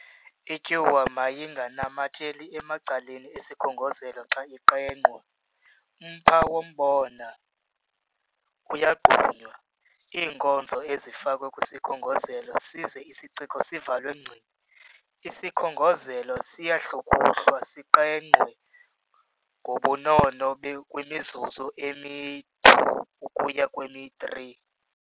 Ityuwa mayinganamatheli emacaleni esikhongozelo xa iqengqwa. Umpha wombona uyagqunywa, iinkozo zifakwe kwisikhongozelo size isiciko sivalwe ngci. Isikhongozelo siyahlukuhlwa siqengqwe ngobunono kwimizuzu emi-2 ukuya kwemi-3.